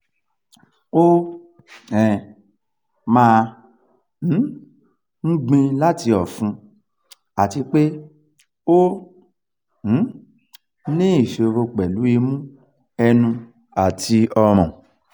o um ma um n gbin lati ofun ati pe o um ni isoro pelu imu enu ati orun